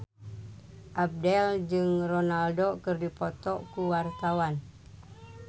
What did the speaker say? Abdel jeung Ronaldo keur dipoto ku wartawan